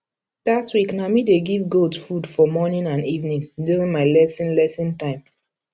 that week na me dey give goat food for morning and evening during my lesson lesson time